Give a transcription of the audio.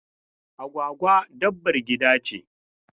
Agwagwa dabbar gida ce.